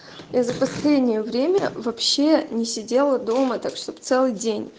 я за последнее время вообще не сидела дома так чтобы целый день